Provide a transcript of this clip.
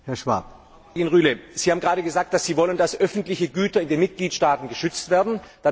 Frau Kollegin Rühle, Sie haben gerade gesagt, Sie wollen, dass öffentliche Güter in den Mitgliedstaaten geschützt werden.